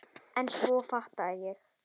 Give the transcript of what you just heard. En svo fattaði ég.